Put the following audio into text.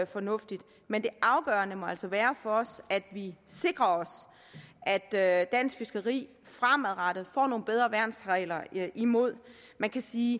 fornuftigt men det afgørende må altså være for os at vi sikrer os at at dansk fiskeri fremadrettet får nogle bedre værnsregler imod man kan sige